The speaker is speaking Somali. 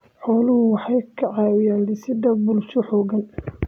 Xooluhu waxay ka caawiyaan dhisidda bulsho xooggan.